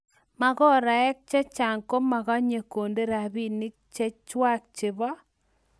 magarek chechang komakanye konde rabinik chechwak chebo